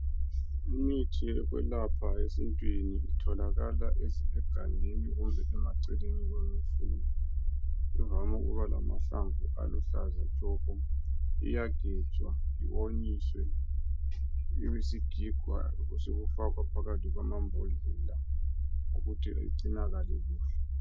Imithi yokwelapha esintwini itholakala egangeni kumbe emaceleni kwemifula. Ivame ukuba lamahlamvu aluhlaza tshoko, iyagejwa yonyiswe ibe sigigwa sokufakwa phakathi kwamambodlela ukuthi igcinakale.